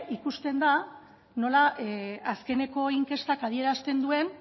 ikusten da nola azkeneko inkestak adierazten duen